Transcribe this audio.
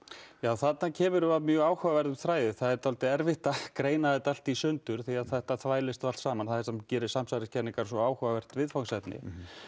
þarna kemur þú að mjög áhugaverðum þræði það er erfitt að greina þetta allt í sundur því þetta þvælist allt saman það einmitt gerir samsæriskenningar svo áhugavert viðfangsefni